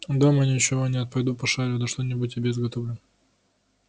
дома ничего нет пойду пошарю да что-нибудь тебе изготовлю